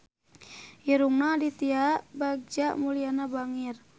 Irungna Aditya Bagja Mulyana bangir